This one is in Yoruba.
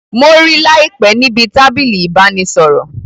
Mo rí láìpé níbi tábìlì ìbánisọ̀rọ̀